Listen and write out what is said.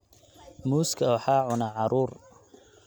Muuska waxaa cuna caruur.